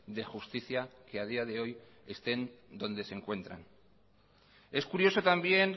de justicia que a día de hoy estén donde se encuentran es curioso también